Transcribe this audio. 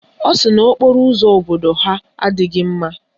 Ọ sị na okporo ụzọ obodo ha adịghị mma